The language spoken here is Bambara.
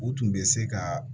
U tun bɛ se ka